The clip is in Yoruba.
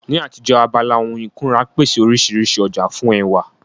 Ní àtijọ́, abala ohun ìkunra pèsè oríṣiríṣi ọjà fún ẹwà